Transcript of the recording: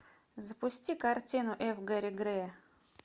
запусти картину ф гэри грея